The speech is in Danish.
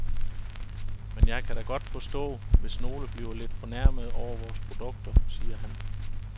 Men jeg kan da godt forstå, hvis nogle bliver lidt fornærmede over vores produkter, siger han.